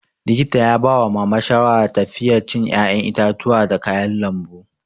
Likita ya bawa mama shawara tafiye cin 'ya'yan itatuwa da kayan lambu.